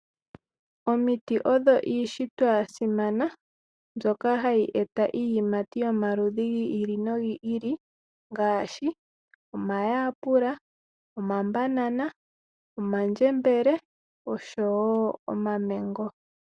Omiti odho iishitwa ya simana mbyoka hayi eta iiyimati yomaludhi gi ili nogi ili, ngaashi omayapula, omabanana, oma ndjembele, oshowo omamengo.